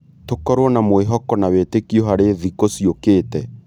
Tũkorwo na mwĩhoko na wĩtĩkio harĩ thikũ ciũkĩte.